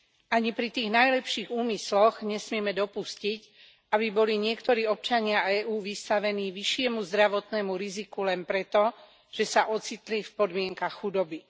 Ani pri tých najlepších úmysloch nesmieme dopustiť, aby boli niektorí občania EÚ vystavení vyššiemu zdravotnému riziku len preto, že sa ocitli v podmienkach chudoby.